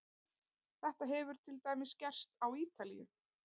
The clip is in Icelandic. Þetta hefur til dæmis gerst á Ítalíu.